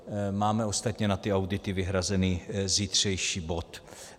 Máme ostatně na ty audity vyhrazený zítřejší bod.